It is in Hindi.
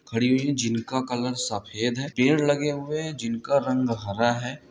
खड़ी हुई हैं जिनका कलर सफेद है| पेड़ लगे हुए हैं जिनका रंग हरा है।